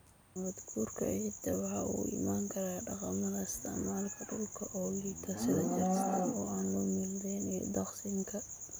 Nabaadguurka ciidda waxa uu ka iman karaa dhaqamada isticmaalka dhulka oo liita, sida jarista aan loo meel dayin iyo daaqsinka.